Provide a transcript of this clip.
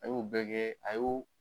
An y'o bɛɛ kɛ a y'o